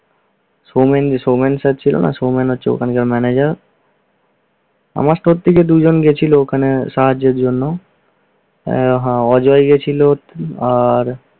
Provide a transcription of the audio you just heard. সমেন~ সমেন চাচ্চু হলো সমেন হচ্ছে ওখানকার ম্যানেজার আমার সবথেকে দুইজন গেছিলো, ওখানে সাহায্যের জন্য ও হ্যা অজয় গেছিলো, আহ